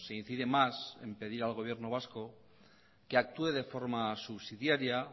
incide más en pedir al gobierno vasco que actúe de forma subsidiaria